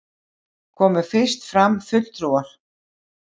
Komu fyrst fram fulltrúar